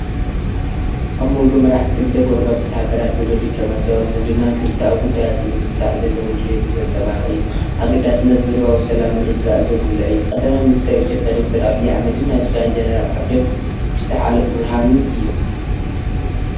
ኣብ መንጎ መራሕቲ ክልተ ጎረባብቲ ሃገራት ዘሎ ዲፕሎማስያዊ ዝምድናን ክልተኣዊ ጉዳያት ንምፍታሕ ዘለዎም ድሌትን ዘንጸባርቕ እዩ። ኣገዳስነት ዞባዊ ሰላምን ምርግጋእን ዘጉልሕ እዩ። ቀ/ሚ/ ኢትዮጵያ ዶክተር ኣብይ ኣሕመድን ናይ ሱዳን ጀነራል ዓብደል ፋታሕ ኣልቡርሃንን እዮም።